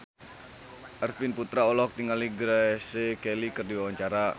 Arifin Putra olohok ningali Grace Kelly keur diwawancara